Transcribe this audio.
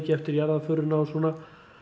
eftir jarðaförina og svona